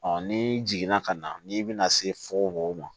ni jiginna ka na n'i bɛna se fo mɔgɔ ma